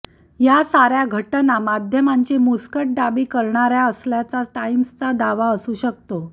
या साऱ्या घटना माध्यमांची मुस्कटदाबी कऱणाऱ्या असल्याचा टाइम्सचा दावा असू शकतो